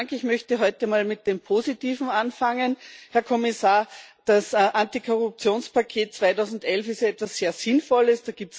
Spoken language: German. Ich möchte heute mal mit dem Positiven anfangen. Herr Kommissar, das Antikorruptionspaket 2011 ist etwas sehr Sinnvolles.